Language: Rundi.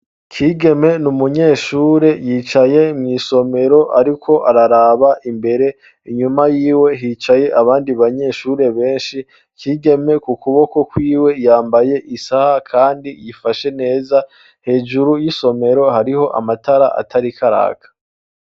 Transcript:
Kigeme ni umunyeshure yicaye mw'isomero, ariko araraba imbere inyuma yiwe hicaye abandi banyeshure benshi kigeme ku kuboko kwiwe yambaye isaha, kandi yifashe neza hejuru y'isomero hariho amatara atarikaraka.